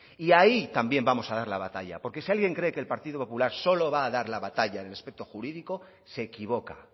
y ahí también vamos a dar la batalla porque si alguien cree que el partido popular solo va a dar la batalla en el aspecto jurídico se equivoca